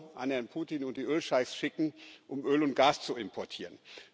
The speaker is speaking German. Euro an Herrn Putin und die Ölscheichs schicken, um Öl und Gas zu importieren.